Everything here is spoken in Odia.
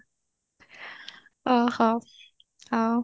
ଓହୋ ଆଉ